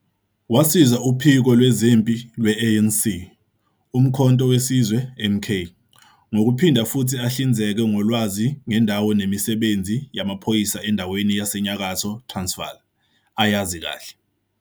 Wasiza uphiko lwezempi lwe-ANC uMkhonto we Sizwe, MK, ngokuphinda futhi ahlinzeke ngolwazi ngendawo nemisebenzi yamaphoyisa endaweni yaseNyakatho Transvaal, ayazi kahle.